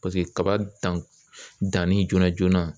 kaba dan danni joona joona